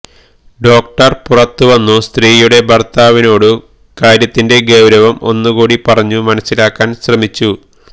doctor പുറത്തുവന്നു സ്ത്രീയുടെ ഭര്ത്താവിനോടു കാര്യത്തിന്റെ ഗൌരവം ഒന്നുകൂടി പറഞ്ഞു മനസ്സിലാക്കാന് ശ്രമിച്ചു